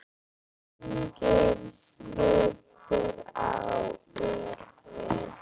Agnes lítur á úrið.